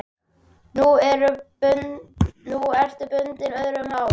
Nú ertu bundin, öðrum háð.